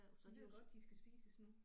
De ved godt de skal spises nu